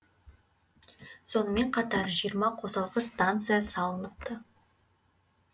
сонымен қатар жиырма қосалқы станция салыныпты